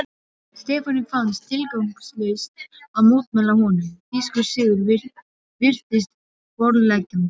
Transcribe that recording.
Stefáni fannst tilgangslaust að mótmæla honum, þýskur sigur virtist borðleggjandi.